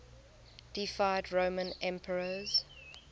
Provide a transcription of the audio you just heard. deified roman emperors